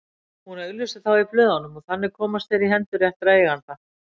Hún auglýsir þá í blöðunum og þannig komast þeir í hendur réttra eigenda.